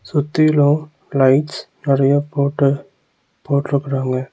சுத்தீலு lights நெறையா போட்டு போட்ருக்கறாங்க